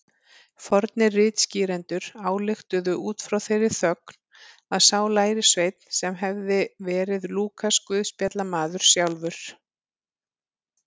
Fornir ritskýrendur ályktuðu út frá þeirri þögn að sá lærisveinn hefði verið Lúkas guðspjallamaður sjálfur.